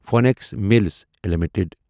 Phoenix Mills limited